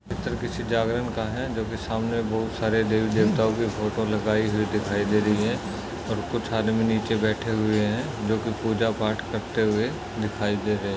चित्र किसी जागरण का है जोकि सामने बहोत सारे देवी देवताओ की फोटो लगाई हुई दिखाई दे रही है और कुच्छ आदमी नीचे बैठे हुए है जोकि पुजा पाठ करते हुए दिखाई दे रहे है।